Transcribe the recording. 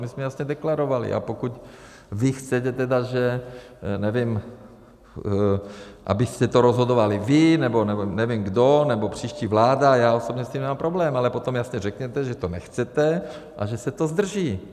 My jsme jasně deklarovali, a pokud vy chcete tedy, že, nevím, abyste to rozhodovali vy, nebo nevím kdo, nebo příští vláda, já osobně s tím nemám problém, ale potom jasně řekněte, že to nechcete a že se to zdrží.